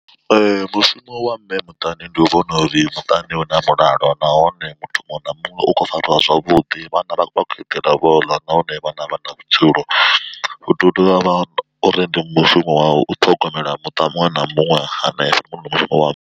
Mushumo wa mme muṱani ndi u vhona uri muṱani hu na mulalo nahone muthu muṅwe na muṅwe u khou fariwa zwavhuḓi vhana vha vha khou eḓela vho ḽa nahone vhana vha na vhutshilo. Hu tea u dovha uri ndi mushumo u ṱhogomela muṱa muṅwe na muṅwe hanefho ndi mushumo wa.